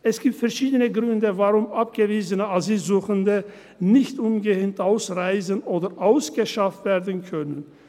Es gibt verschiedene Gründe, warum abgewiesene Asylsuchende nicht umgehend ausreisen oder ausgeschafft werden können.